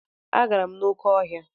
Agara m n'oké ọhịa.